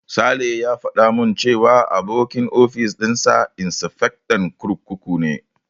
Sale ya faɗa min cewa abokin ofis dinsa insifectan kurkuku ne.